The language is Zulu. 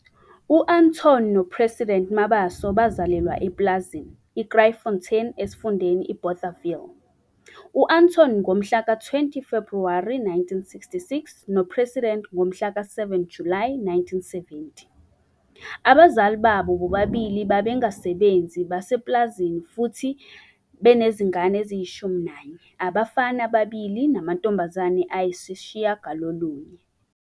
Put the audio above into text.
U-Anton no-President Mabaso bazalelwa epulazini, i-Krytfontein eSifundeni iBothaville. U-Anton ngomhla ka-20 Febhuwri 1966 noPresident ngomhla ka-7 Julayi 1970. Abazili babo bobabili babengabasebenzi basepulazini futhi banezingane eziyi-11 - abafana ababili namantombazane ayisishiyagalolunye.